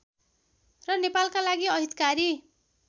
र नेपालका लागि अहितकारी